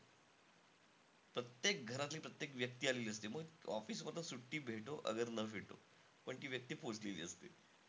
प्रत्येक घरातली प्रत्येक व्यक्ती आलेली असते. म office मधनं सुट्टी भेटो ना भेटो. पण ती व्यक्ती पोहोचलेली असते.